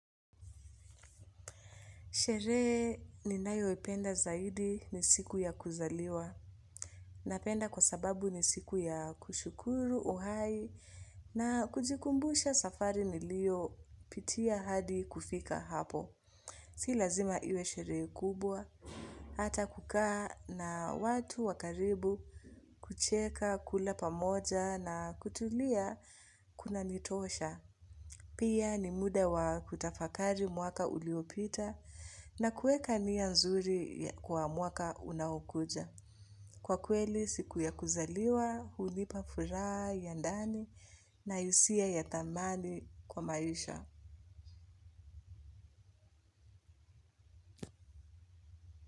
Sherehe ninayo ipenda zaidi ni siku ya kuzaliwa. Napenda kwa sababu ni siku ya kushukuru uhai na kujikumbusha safari nilio pitia hadi kufika hapo. Si lazima iwe sherehe kubwa. Hata kukaa na watu wakaribu, kucheka, kula pamoja na kutulia kuna nitosha. Pia ni muda wa kutafakari mwaka uliopita na kueka nia nzuri kwa mwaka unao kuja. Kwa kweli siku ya kuzaliwa, hunipa furaha, ya ndani na hisia ya thamani kwa maisha.